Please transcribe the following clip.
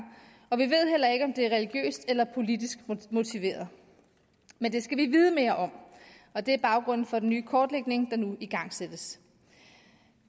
og vi ved heller ikke om det er religiøst eller politisk motiveret men det skal vi vide mere om og det er baggrunden for den nye kortlægning der nu igangsættes